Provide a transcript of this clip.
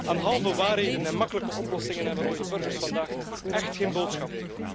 Aan halve waarheden en makkelijke oplossingen hebben onze burgers vandaag echt geen boodschap.